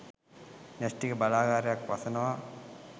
න්‍යෂ්ටික බලාගාරයක් වසනවා